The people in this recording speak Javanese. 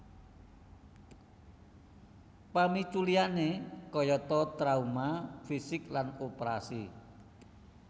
Pamicu liyane kayata trauma fisik lan oprasi